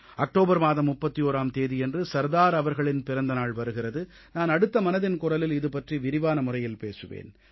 October மாதம் 31ஆம் தேதியன்று சர்தார் அவர்களின் பிறந்த நாள் வருகிறது நான் அடுத்த மனதின் குரலில் இதுபற்றி விரிவான முறையில் பேசுவேன்